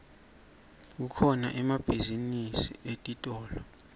kukhona emabhizinisi etitolo